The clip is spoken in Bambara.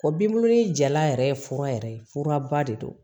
O binbulu jalan yɛrɛ ye fura yɛrɛ furaba de don